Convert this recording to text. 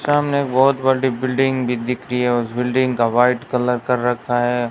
सामने एक बहोत बड़ी बिल्डिंग भी दिख रही है उस बिल्डिंग का वाइट कलर कर रखा है।